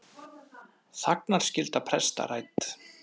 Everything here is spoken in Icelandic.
Þagnarskylda presta rædd